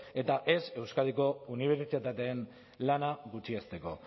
eta ez euskadiko unibertsitateen lana gutxiesteko